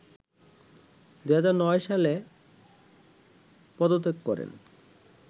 ২০০৯ সালে পদত্যাগ করেন